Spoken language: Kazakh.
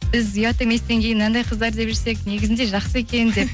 біз ұят еместен кейін мынандай қыздар деп жүрсек негізінде жақсы екен деп